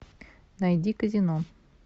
найди казино